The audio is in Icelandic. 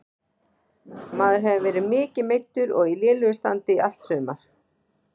Maður hefur verið mikið meiddur og í lélegu standi í allt sumar.